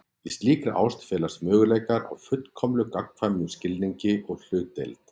Í slíkri ást felast möguleikar á fullkomlega gagnkvæmum skilningi og hlutdeild.